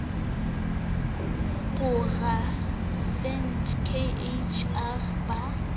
poraevete k h r ba